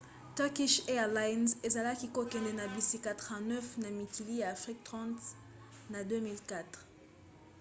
turkish airlines ezalaki kokende na bisika 39 na mikili ya afrika 30 na 2014